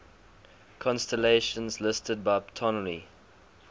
constellations listed by ptolemy